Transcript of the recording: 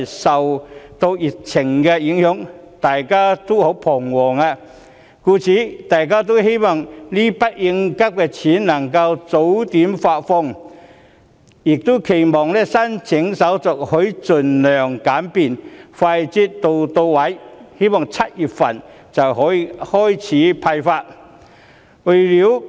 受到疫情影響，市民都感到十分彷徨，希望這筆應急錢能夠早點發放，並期望有關申請手續能盡量簡便，快捷到位 ，7 月份便可以開始派發。